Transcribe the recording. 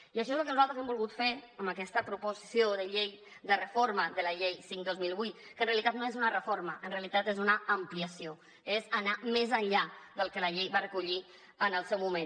i això és lo que nosaltres hem volgut fer amb aquesta proposició de llei de reforma de la llei cinc dos mil vuit que en realitat no és una reforma en realitat és una ampliació és anar més enllà del que la llei va recollir en el seu moment